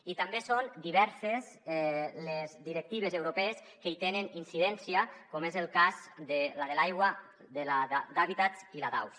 i també són diverses les directives europees que hi tenen incidència com és el cas de la de l’aigua la d’hàbitats i la d’aus